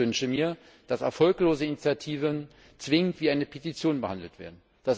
Ich wünsche mir, dass erfolglose Initiativen zwingend wie eine Petition behandelt werden.